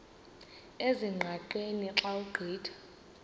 ezingqaqeni xa ugqitha